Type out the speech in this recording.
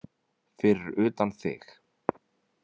Fyrir utan þig.